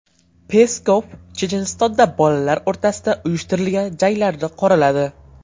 Peskov Chechenistonda bolalar o‘rtasida uyushtirilgan janglarni qoraladi.